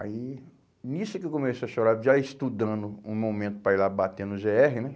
Aí, nisso que eu comecei a chorar, já estudando um momento para ir lá bater no gê erre, né?